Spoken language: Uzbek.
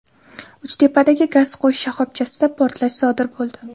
Uchtepadagi gaz qo‘yish shoxobchasida portlash sodir bo‘ldi.